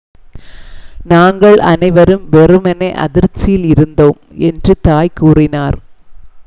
"""நாங்கள் அனைவரும் வெறுமனே அதிர்ச்சியில் இருந்தோம்," என்று தாய் கூறினார்.